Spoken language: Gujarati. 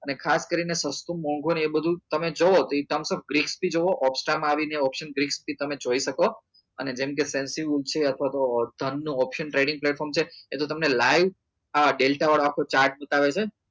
અને ખાસ કરી ને સસ્તું મોંઘુ ને એ બધું તમે જોવો તો એ ઓપ્સ્તા માં આવી ને option greaps થી તમે જોઈ શકો અને જેમ કે અથવા ધન નું option platform છે ત્યાં તો તમને live delta વાળો chart બતાવે છે